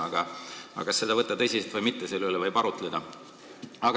Aga kas seda võtta tõsiselt või mitte, selle üle võib arutleda.